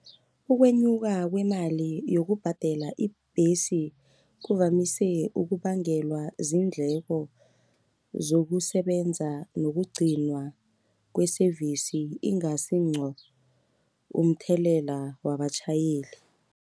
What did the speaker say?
Ukwenyuka kwemali yokubhadela ibhesi, kuvamise ukubangelwa ziindleko zokusebenza yokugcinwa kwe-service ingasi ngqo, umthelela wabatjhayeli.